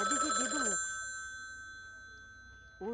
É dividido o lucro.